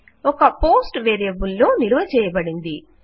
ఒక post variable లో నిలువ చేయబడింది